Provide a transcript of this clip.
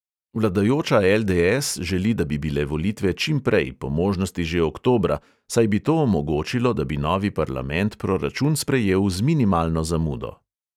Vladajoča LDS želi, da bi bile volitve čimprej, po možnosti že oktobra, saj bi to omogočilo, da bi novi parlament proračun sprejel z minimalno zamudo.